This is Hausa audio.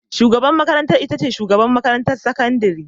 Shugabar makarantar ita ce shugabar makarantar sakandare.